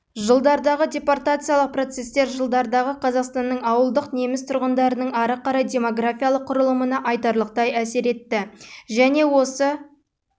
жылдардағы депортациялық процестер жылдардағы қазақстанның ауылдық неміс тұрғындарының ары қарай демографиялық құрылымына айтарлықтай әсер етті және осы